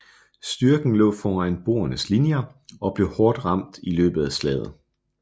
Styrken lå foran boernes linjer og blev hårdt ramt i løbet af slaget